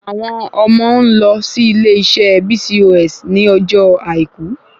Àwọn ọmọ ń lọ sí ilé iṣé BCOS ní ọjọ́ àìkú